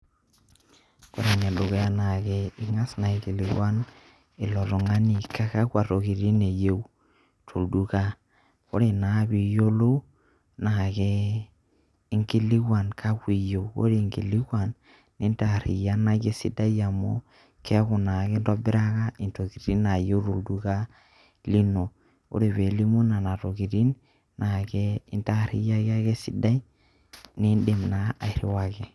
ore ene dukuya ingas aikilikuan ilo tungani kakua tokitin eyieu tolduka. ore naa pee iyiolou naa keinkiluan kakua iyieu, ore inkulikuan, nintaariyianaki esidai amu, keeku naa kintobiraka intokitin naayieu tolduka ino, ore pee elimu nena tokitin, naa intaariyiaki ake esidai nidim naa airiwaki.